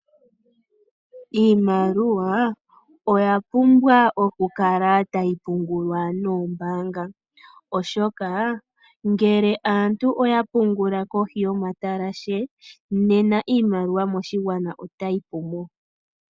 Iimaliwa oya pumbwa okukala tayi pungulwa koombaanga, oshoka ngele aantu oya pungula kohi yomatalashe, nena iimaliwa moshigwana otayi pu mo.